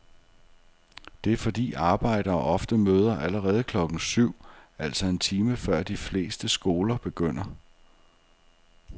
Det er fordi arbejdere ofte møder allerede klokken syv, altså en time før de fleste skoler begynder.